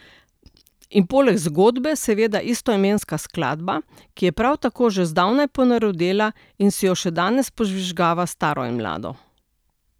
In poleg zgodbe seveda istoimenska skladba, ki je prav tako že zdavnaj ponarodela in si jo še danes požvižgava staro in mlado.